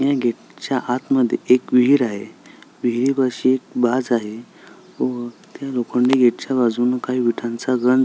या गेट च्या आत मध्ये एक विहीर आहे विहारी पाशी एक आहे व त्या लोखंडी गेट च्या बाजूला विटांचा गंज--